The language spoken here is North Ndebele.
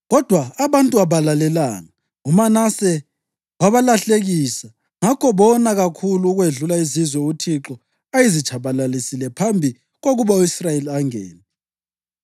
Kodwa abantu abalalelanga. UManase wabalahlekisa, ngakho bona kakhulu ukwedlula izizwe uThixo ayezitshabalalise phambi kokuba u-Israyeli angene.